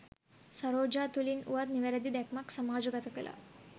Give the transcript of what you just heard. සරෝජා තුළින් වුවත් නිවැරැදි දැක්මක් සමාජ ගත කලා.